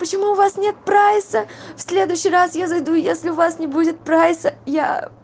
почему у вас нет прайса в следующий раз я зайду если у вас не будет прайса я